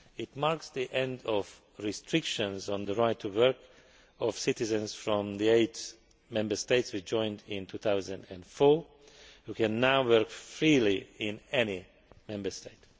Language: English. It marked the end of restrictions on the right to work of citizens from the eight Member States which joined in 2004, who can now work freely in any Member State.